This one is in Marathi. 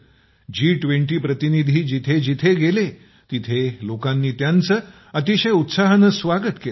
जी २० प्रतिनिधी जिथं जिथं गेले तेथे लोकांनी त्यांचे अतिशय उत्साहानं स्वागत केलं